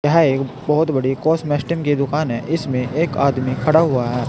यह एक बोहोत बड़ी कॉसमैस्टीम की दुकान है। इसमें एक आदमी खड़ा हुआ है।